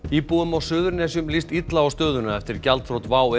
íbúum á Suðurnesjum líst illa á stöðuna eftir gjaldþrot WOW